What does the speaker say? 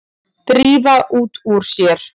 Drífa út úr sér.